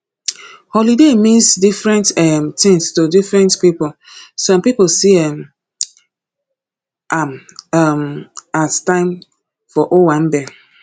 holiday mean different um things to different pipo some pipo see um am um as time for owambe